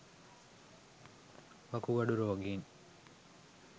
වකුගඩු රෝගීන්